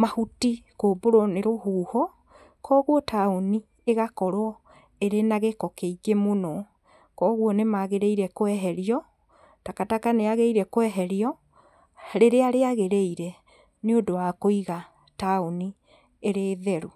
mahuti kũmbũrwo nĩ rũhuho, koguo taũni ĩgakorwo ĩrĩ na gĩko kĩingĩ mũno, koguo nĩ magĩrĩire kweherio, takataka nĩ yagĩrĩire kweherio rĩrĩa rĩagĩrĩire, nĩ ũndũ wa kũiga taũni ĩrĩ theru.